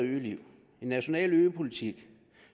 en national øpolitik